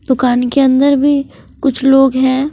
दुकान के अंदर भी कुछ लोग है।